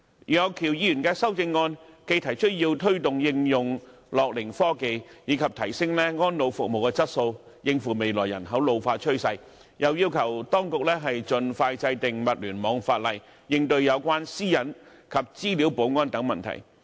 楊岳橋議員的修正案既提出要推動應用樂齡科技，以及提升安老服務的質素，應付未來人口老化的趨勢，又要求當局盡快制定物聯網法例，應對有關私隱及資料保安等問題。